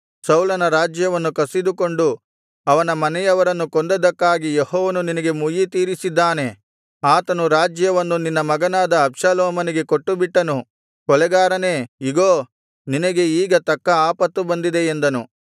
ಸೌಲನ ರಾಜ್ಯವನ್ನು ಕಸಿದುಕೊಂಡು ಅವನ ಮನೆಯವರನ್ನು ಕೊಂದದ್ದಕ್ಕಾಗಿ ಯೆಹೋವನು ನಿನಗೆ ಮುಯ್ಯಿ ತೀರಿಸಿದ್ದಾನೆ ಆತನು ರಾಜ್ಯವನ್ನು ನಿನ್ನ ಮಗನಾದ ಅಬ್ಷಾಲೋಮನಿಗೆ ಕೊಟ್ಟು ಬಿಟ್ಟನು ಕೊಲೆಗಾರನೇ ಇಗೋ ನಿನಗೆ ಈಗ ತಕ್ಕ ಆಪತ್ತು ಬಂದಿದೆ ಎಂದನು